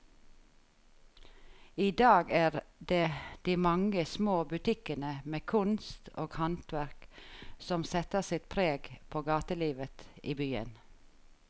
I dag er det de mange små butikkene med kunst og håndverk som setter sitt preg på gatelivet i byen.